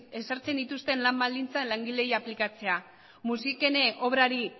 ezartzen dituzten lan baldintzak langileei aplikatzea musikene obrari